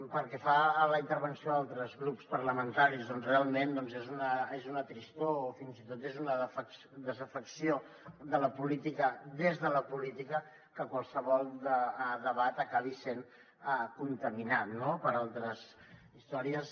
pel que fa a la intervenció d’altres grups parlamentaris realment és una tristor o fins i tot és una desafecció de la política des de la política que qualsevol debat acabi sent contaminat no per altres històries